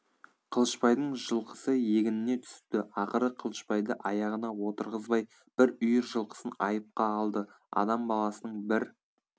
қылышбайдың жылқысы егініне түсіпті ақыры қылышбайды аяғына отырғызбай бір үйір жылқысын айыпқа алды адам баласының бір